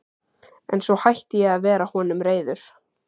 En svo hætti ég að vera honum reiður.